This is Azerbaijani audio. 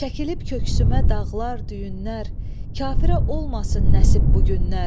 Çəkilib köksümə dağlar, düyünlər, kafirə olmasın nəsib bu günlər.